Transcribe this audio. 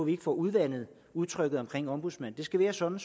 ikke får udvandet udtrykket ombudsmand det skal være sådan